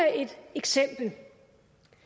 eksempel et